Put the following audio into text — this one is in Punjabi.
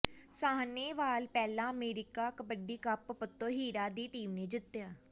ਸਾਹਨੇਵਾਲ ਪਹਿਲਾ ਅਮਰੀਕਾ ਕਬੱਡੀ ਕੱਪ ਪੱਤੋ ਹੀਰਾ ਦੀ ਟੀਮ ਨੇ ਜਿੱਤਿਆ